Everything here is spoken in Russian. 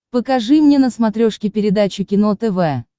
покажи мне на смотрешке передачу кино тв